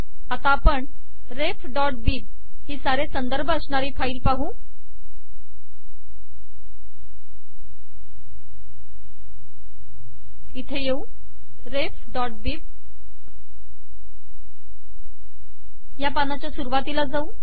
आता आपण refबिब ही सारे संदर्भ अश्नारी फाईल पाहू इथे येऊ refबिब या पानाच्या सुरवातीला जाऊ